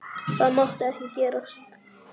Það mátti ekki gerast.